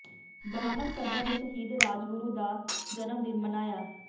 ਬ੍ਰਾਹਮਣ ਸਭਾ ਨੇ ਸ਼ਹੀਦ ਰਾਜਗੁਰੂ ਦਾ ਜਨਮ ਦਿਨ ਮਨਾਇਆ